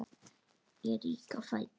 Ég rýk á fætur.